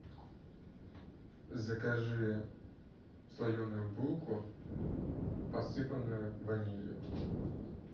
закажи слоеную булку посыпанную ванилью